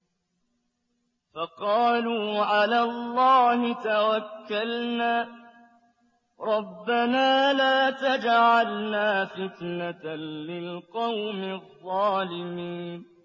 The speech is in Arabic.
فَقَالُوا عَلَى اللَّهِ تَوَكَّلْنَا رَبَّنَا لَا تَجْعَلْنَا فِتْنَةً لِّلْقَوْمِ الظَّالِمِينَ